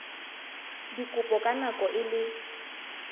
dikopo ka nako e le